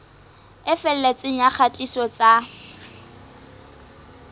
e felletseng ya kgatiso tsa